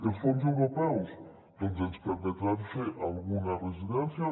els fons europeus doncs ens permetran fer alguna residència